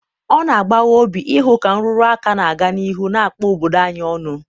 ọ na-agbawa obi ịhụ ka nrụrụ aka na-aga n'ihu na-akpa obodo anyị ọnụ.